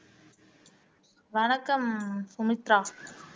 வணக்கம் சுமித்ரா